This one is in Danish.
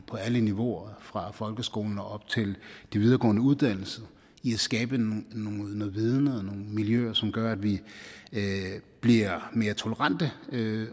på alle niveauer fra folkeskolen og op til de videregående uddannelser i at skabe noget viden og nogle miljøer som gør at vi bliver mere tolerante